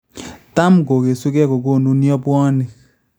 Taamko kesukee kokonuunyoo buuwaaniik